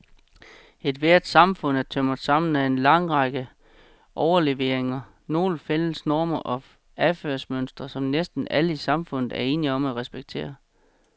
Ethvert samfund er tømret sammen af en række overleveringer, nogle fælles normer og adfærdsmønstre, som næsten alle i samfundet er enige om at respektere.